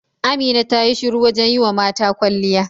Amina ta yi shura wajen yi wa mata kwalliya.